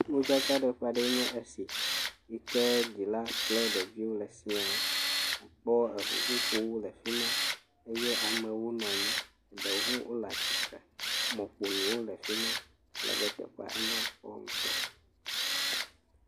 Modzakaɖeƒe aɖee nye es iyi ked zila kple ɖeviwo le siaa. Akpɔ eŋuƒoƒowo le fi ma eye amewo nɔ nyi. Eɖewo hã wole tsitre. Mɔƒonuwo le afi ma. Alebe teƒea enya kpɔ ŋutɔ.